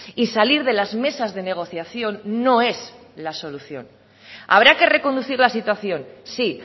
y salir de las mesas de negociación no es la solución habrá que reconducir la situación sí